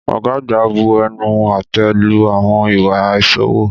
Ọ̀gá àgbà bu ẹnu àtẹ́ lu àwọn ìwà àìṣòwò.